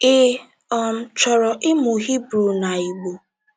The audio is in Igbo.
Ị um Chọrọ Ịmụ Hibru na Igbo?